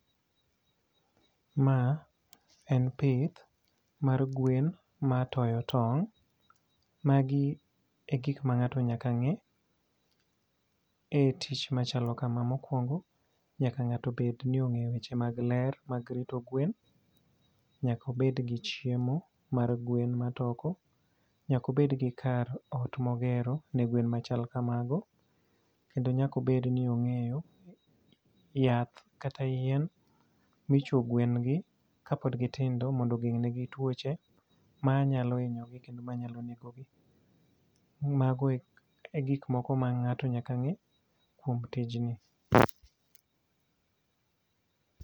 Ma en pith mar gwen ma toyo tong'. Magi e gik ma ngáto nyaka ngé e tich machalo kama. Mokwongo, nyaka ngáto bed ni ongéyo weche mag ler mag rito gwen. Nyaka obed gi chiemo mar gwen matoko. Nyaka obed gi kar ot ma ogero ne gwen machal kamago. Nyaka obed ni ongéyo yath kata yien ma ichwo gwen gi, ka pod gitindo mondo ogeng' ne gi twoche ma nyalo hinyogi, kendo manyalo nego gi. Mago e gik moko ma ngáto nyaka ngé kuom tijni.